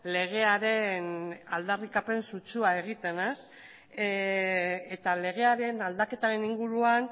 legearen aldarrikapen sutsua egiten eta legearen aldaketaren inguruan